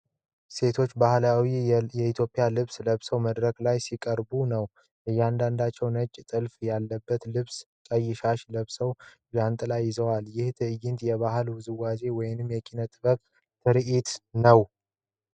ሴቶች ባህላዊ የኢትዮጵያ ልብስ ለብሰው መድረክ ላይ ሲያቀርቡ ነው ። እያንዳንዳቸው ነጭ ጥልፍ ያለበት ልብስና ቀይ ሻሽ ለብሰው ጃንጥላ ይዘዋል ። ይህ ትዕይንት የባህል ውዝዋዜ ወይም የኪነ-ጥበብ ትርዒት ነው ።